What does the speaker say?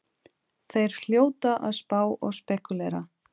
Þeir hljóta að spá og spekúlera!